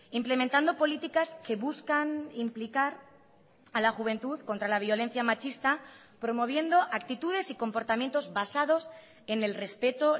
implementando políticas que buscan implicar a la juventud contra la violencia machista promoviendo actitudes y comportamientos basados en el respeto